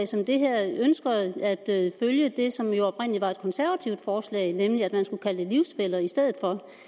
som det her ønsker at følge det som jo oprindelig var et konservativt forslag nemlig at man skulle kalde det livsfæller i stedet